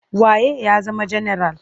Wa ye ya zama janaral?